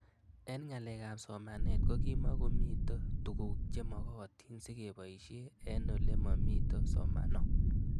Eng' ng'alek ab somanet ko kimukomito tuguk che magatin sikepoishe eng' ole mamito somano